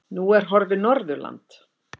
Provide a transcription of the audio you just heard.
Nú er horfið Norðurland.